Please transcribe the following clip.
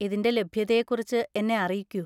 ഇതിന്റെ ലഭ്യതയെക്കുറിച്ച് എന്നെ അറിയിക്കൂ.